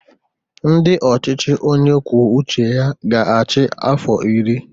Ndị ọchịchị onye kwuo uche ya ga-achị afọ iri